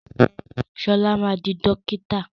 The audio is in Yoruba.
Ṣọlá ma di dókítà!